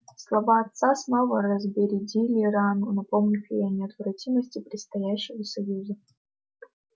слова отца снова разбередили рану напомнив ей о неотвратимости предстоящего союза